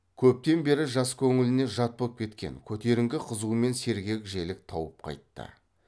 көптен бері жас көңіліне жат боп кеткен көтеріңкі қызу мен сергек желік тауып қайтты